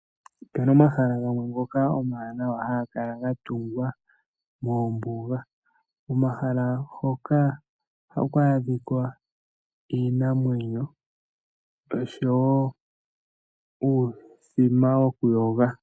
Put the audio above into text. Opu na omahala gamwe ngoka omawanawa haga kala ga tungwa moombuga. Komahala hoka ohaku adhika iinamwenyo osho wo uuthima wokuyoga.